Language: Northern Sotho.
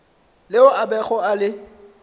leo a bego a le